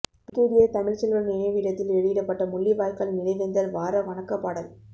brigadier Tamilselvan நினைவிடத்தில் வெளியிடப்பட்ட முள்ளிவாய்க்கால் நினைவேந்தல் வார வணக்க பாடல்